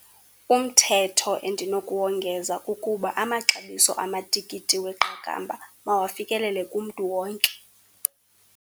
Umthetho endinokuwongeza kukuba amaxabiso amatikiti weqakamba mawafikelele kumntu wonke.